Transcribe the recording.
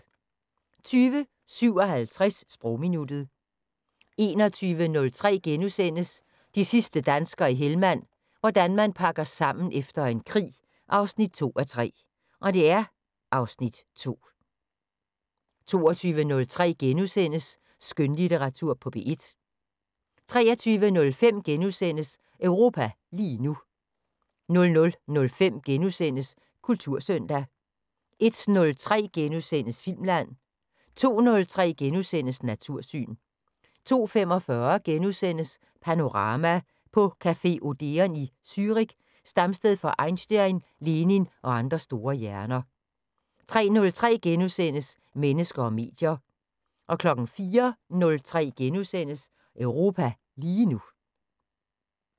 20:57: Sprogminuttet 21:03: De sidste danskere i Helmand – hvordan man pakker sammen efter en krig 2:3 (Afs. 2)* 22:03: Skønlitteratur på P1 * 23:05: Europa lige nu * 00:05: Kultursøndag * 01:03: Filmland * 02:03: Natursyn * 02:45: Panorama: På café Odeon i Zürich, stamsted for Einstein, Lenin og andre store hjerner * 03:03: Mennesker og medier * 04:03: Europa lige nu *